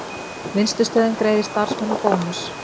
Vinnslustöðin greiðir starfsmönnum bónus